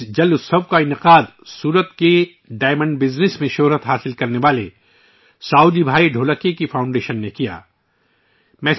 یہ water festival Surat کے ہیروں کے کاروبار میں اپنا نام بنانے والے ساؤجی بھائی ڈھولکیا کی فاؤنڈیشن نے منعقد کیا تھا